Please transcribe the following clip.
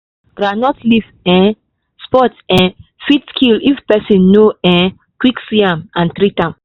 groundnut leaf um spot um fit kill if person no um quick see am and treat am.